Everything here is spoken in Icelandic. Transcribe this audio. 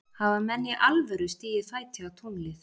Hafa menn í alvöru stigið fæti á tunglið?